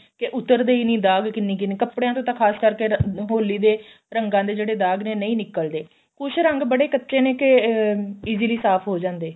ਕੇ ਉਤਰਦੇ ਹੀ ਨੀ ਦਾਗ ਕਿੰਨੀ ਕਿੰਨੀ ਕੱਪੜਿਆਂ ਤੇ ਤਾਂ ਖ਼ਾਸ ਕਰਕੇ ਹੋਲੀ ਦੇ ਰੰਗਾਂ ਦੇ ਜਿਹੜੇ ਦਾਗ ਨੇ ਨਹੀਂ ਨਿਕਲਦੇ ਕੁੱਝ ਰੰਗ ਬੜੇ ਕੱਚੇ ਨੇ ਕੇ ਅਹ easily ਸਾਫ਼ ਹੋ ਜਾਂਦੇ